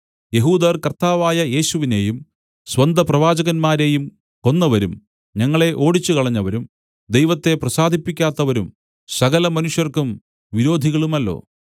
യെഹൂദർ കർത്താവായ യേശുവിനെയും സ്വന്തപ്രവാചകന്മാരെയും കൊന്നവരും ഞങ്ങളെ ഓടിച്ചുകളഞ്ഞവരും ദൈവത്തെ പ്രസാദിപ്പിക്കാത്തവരും സകലമനുഷ്യർക്കും വിരോധികളുമല്ലോ